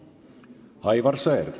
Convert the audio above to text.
Aivar Sõerd.